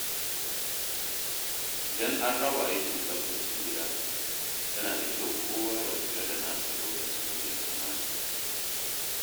Idan an raba aikin tsaftace gida, yana da kyau kowa ya kula da nasa lokacin da ya kamata.